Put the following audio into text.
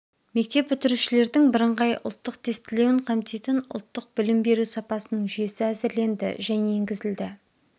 мектеп бітірушілердің бірыңғай ұлттың тестілеуін қамтитын ұлттық білім беру сапасының жүйесі әзірленді және енгізілді